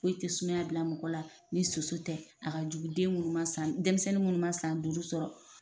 Foyi te sumaya bila mɔgɔ la ni soso tɛ a ka jugu den munnu ma denmisɛnnu munnu ma san duuru sɔrɔ